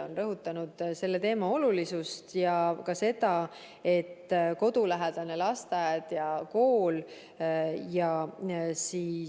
Ta on rõhutanud selle teema olulisust ja ka seda, et on kodulähedane lasteaed ja kool ning